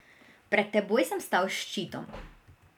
Pred teboj sem stal s ščitom.